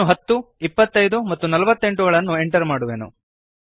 ನಾನು 10 25 ಮತ್ತು 48 ಗಳನ್ನು ಎಂಟರ್ ಮಾಡುವೆನು